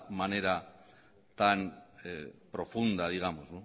manera tan profunda digamos